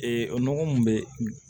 Ee o nɔgɔ mun bɛ